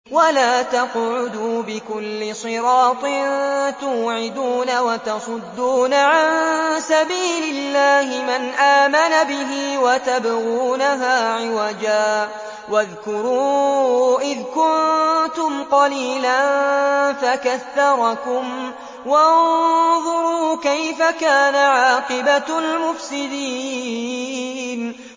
وَلَا تَقْعُدُوا بِكُلِّ صِرَاطٍ تُوعِدُونَ وَتَصُدُّونَ عَن سَبِيلِ اللَّهِ مَنْ آمَنَ بِهِ وَتَبْغُونَهَا عِوَجًا ۚ وَاذْكُرُوا إِذْ كُنتُمْ قَلِيلًا فَكَثَّرَكُمْ ۖ وَانظُرُوا كَيْفَ كَانَ عَاقِبَةُ الْمُفْسِدِينَ